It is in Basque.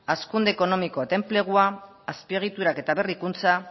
hazkunde ekonomikoa eta enplegua azpiegiturak eta berrikuntza